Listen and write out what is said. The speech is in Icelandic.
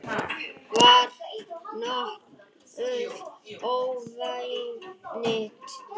Það var nokkuð óvænt